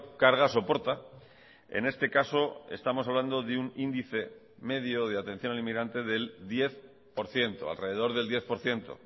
carga soporta en este caso estamos hablando de un índice medio de atención al inmigrante del diez por ciento alrededor del diez por ciento